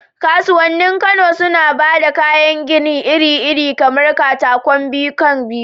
Kasuwannin Kano suna ba da kayan gini iri-iri kamar katakon biyu kan biyu